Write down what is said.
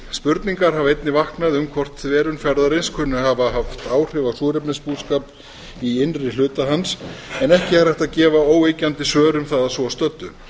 spurningar hafa einnig vaknað um hvort þverun fjarðarins kunni að hafa haft áhrif á súrefnisbúskap í innri hluta hans en ekki er hægt að gefa óyggjandi svör um það að svo stöddu